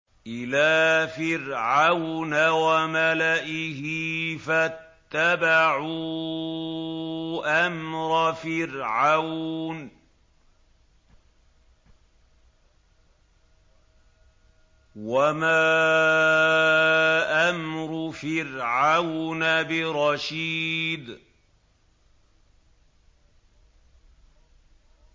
إِلَىٰ فِرْعَوْنَ وَمَلَئِهِ فَاتَّبَعُوا أَمْرَ فِرْعَوْنَ ۖ وَمَا أَمْرُ فِرْعَوْنَ بِرَشِيدٍ